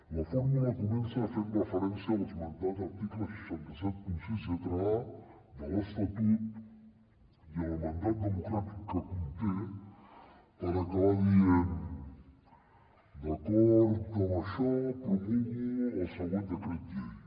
la fórmula comença fent referència a l’esmentat article sis cents i setanta sis lletra a de l’estatut i el mandat democràtic que conté per acabar dient d’acord amb això promulgo el següent decret llei